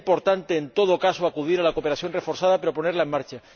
Será importante, en todo caso, acudir a la cooperación reforzada para ponerla en marcha.